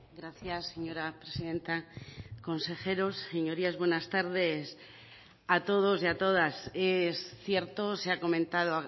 gracias señora presidenta consejeros señorías buenas tardes a todos y a todas es cierto se ha comentado